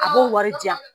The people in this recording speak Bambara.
A b'o wari di yan